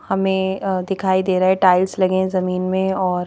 हमें दिखाई दे रहा है टाइल्स लगे हैं जमीन में और--